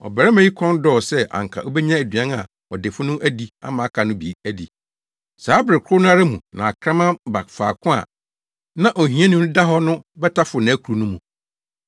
Ɔbarima yi kɔn dɔɔ sɛ anka obenya aduan a ɔdefo no adi ama aka no bi adi. Saa bere koro no ara mu na akraman ba faako a na ohiani no da hɔ no bɛtaforo nʼakuru no mu.